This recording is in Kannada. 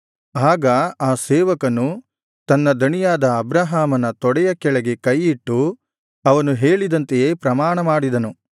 ಆಗ ಆ ಸೇವಕನು ತನ್ನ ದಣಿಯಾದ ಅಬ್ರಹಾಮನ ತೊಡೆಯ ಕೆಳಗೆ ಕೈಯಿಟ್ಟು ಅವನು ಹೇಳಿದಂತೆಯೇ ಪ್ರಮಾಣಮಾಡಿದನು